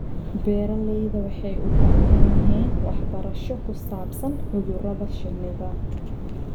Beeralayda waxay u baahan yihiin waxbarasho ku saabsan cudurrada shinnida.